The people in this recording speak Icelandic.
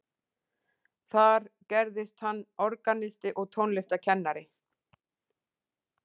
Þar gerðist hann organisti og tónlistarkennari.